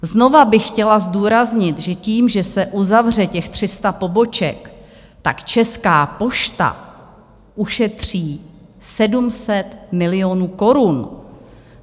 Znovu bych chtěla zdůraznit, že tím, že se uzavře těch 300 poboček, tak Česká pošta ušetří 700 milionů korun.